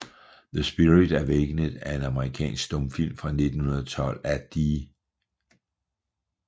The Spirit Awakened er en amerikansk stumfilm fra 1912 af D